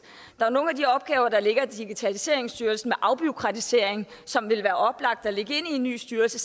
der er nogle af de opgaver der ligger i digitaliseringsstyrelsen med afbureaukratisering som det ville være oplagt at lægge i en ny styrelse